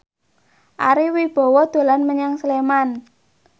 Ari Wibowo dolan menyang Sleman